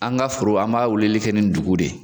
An ga foro an b'a wulili kɛ nin dugun de ye